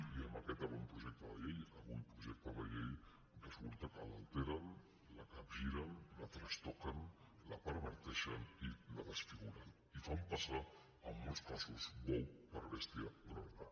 i amb aquest avantprojecte de llei avui projecte de llei resulta que l’alteren la capgiren la trastoquen la perverteixen i la desfiguren i fan passar en molts casos bou per bèstia grossa